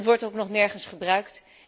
Het wordt ook nog nergens gebruikt.